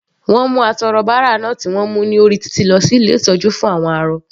Wọ́n mú atọrọbárà náà tí wọ́n mú ní orí títì lọ sí ilé ìtọ́jú fún àwọn arọ.